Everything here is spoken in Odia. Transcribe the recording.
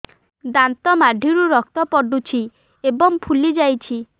ଦାନ୍ତ ମାଢ଼ିରୁ ରକ୍ତ ପଡୁଛୁ ଏବଂ ଫୁଲି ଯାଇଛି